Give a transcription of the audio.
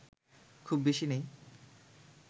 খুব বেশি নেই